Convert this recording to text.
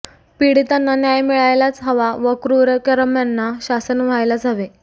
पीडितांना न्याय मिळायलाच हवा व क्रुरकर्म्यांना शासन व्हायलाच हवे